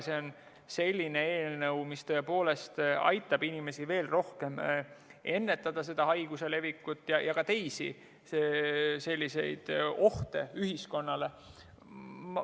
See on selline eelnõu, mis tõepoolest aitab inimestel veel rohkem ennetada haiguse levikut ja ka teisi selliseid ohte ühiskonnale.